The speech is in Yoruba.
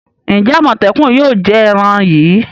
Ǹjẹ́ àmòtẹ́kùn náà yóò jẹ èran yìí?